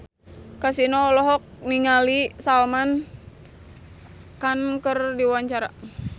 Kasino olohok ningali Salman Khan keur diwawancara